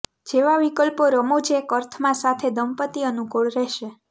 જેવા વિકલ્પો રમૂજ એક અર્થમાં સાથે દંપતી અનુકૂળ રહેશે